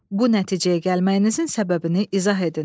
Bu nəticəyə gəlməyinizin səbəbini izah edin.